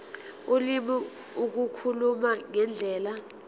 ulimi ukukhuluma ngendlela